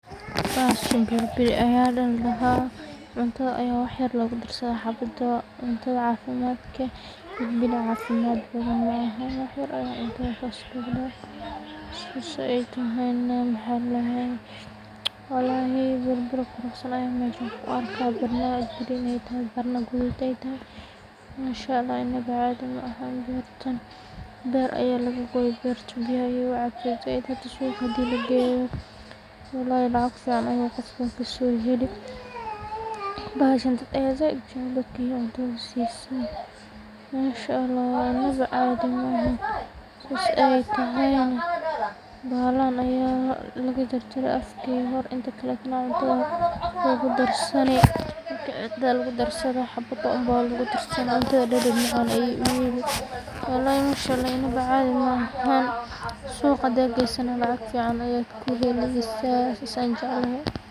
Bahashan bilibili aya ladhaha cuntada ayaa wax yar lagu darsada xabadoo cafimadka, bilibili caafimad badan malaha wax yar ayaa cuntada saas lagu dhaha sasoo eey tahayna mxaa ladhahaaye walahi bilibili quruxsan ayaan meshaan ku arkaa barna green[sc]barna gaduud eey tahay mansha, allah inaba caadi mahan beertan beer ayaa laga gooyi suuqa hadii lageyo wallahi lacag fican ayuu qofkas kasoo heli, bahashaan dad ayaa saaid ujecel manshaalah inaba caadi mahan saas eey tahayna bahalahan ayaa laga jarjaray afka hore inta kalana cuntada ayaa lagu darsani, xabadoo unba lagu darsani cunada dhadhan macan beey uyeeli wallahi manshalah inaba caadi maahan suuqa hadadgesana lacag fican ayaad kahelesaa sasaan jecelehe.